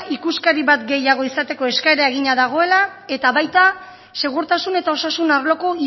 ikuskari bat gehiago izateko eskaera eginda dagoela eta baita segurtasun eta osasun arloko